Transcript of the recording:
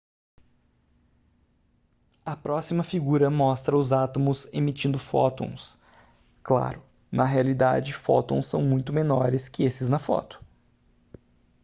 a próxima figura mostra os átomos emitindo fótons claro na realidade fótons são muito menores que esses na foto